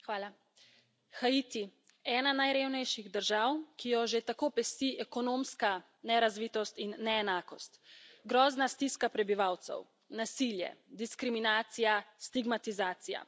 Gospa predsednica! Haiti. Ena najrevnejših držav, ki jo že tako pesti ekonomska nerazvitost in neenakost. Grozna stiska prebivalcev, nasilje, diskriminacija, stigmatizacija.